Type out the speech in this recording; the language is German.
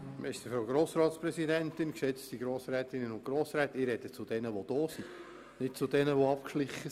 Ich spreche zu denjenigen, die hier im Saal sind und nicht zu denjenigen, die davongeschlichen sind.